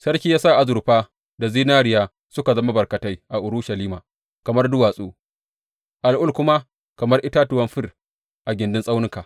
Sarki ya sa azurfa da zinariya suka zama barkatai a Urushalima kamar duwatsu, al’ul kuma kamar itatuwan fir a gindin tsaunuka.